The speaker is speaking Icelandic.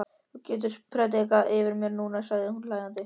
Já, þú getur prédikað yfir mér núna, sagði hún hlæjandi.